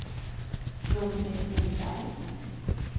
Gun-Britt Lindberg